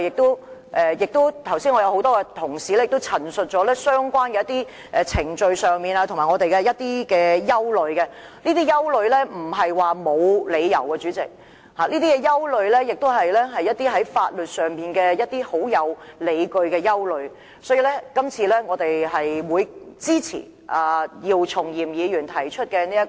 剛才多位同事已經陳述過我們對相關程序等各方面的憂慮，這些憂慮並非毫無理據，相反地，這些憂慮在法律上有根有據，所以，我們會支持姚松炎議員提出的議案。